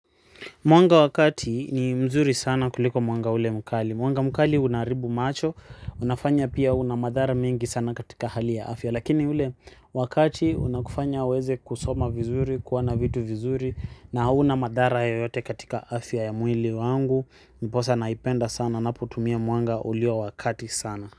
Mwanga wa kati ni mzuri sana kuliko mwanga ule mkali. Mwanga mkali unaharibu macho. Unafanya pia unamadhara mingi sana katika hali ya afya. Lakini ule wakati unakufanya uweze kusoma vizuri, kuwana vitu vizuri na hunamadhara yoyote katika afya ya mwili wangu. Ndiposa naipenda sana. Napo tumia mwanga ulio wakati sana.